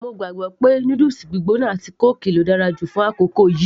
mo gbàgbọ́ pé noodles gbígbóná àti kóòkì ló dára jù fún àkókò yìí